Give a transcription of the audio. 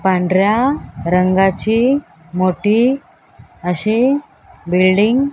पांढऱ्या रंगाची मोठी अशी बिल्डिंग --